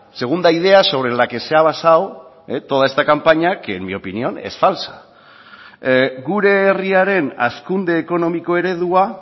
segunda idea sobre la que se ha basado toda esta campaña que en mi opinión es falsa gure herriaren hazkunde ekonomiko eredua